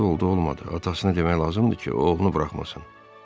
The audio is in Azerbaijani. “Dəxli oldu-olmadı, atasını demək lazımdır ki, oğlunu buraxmasın.”